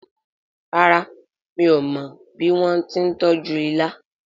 ràrá mi'o mo bí wón tí tọjú ìlà